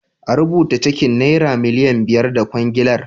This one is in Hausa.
A rubuta cekin nera miliyan biyar na kwangilar.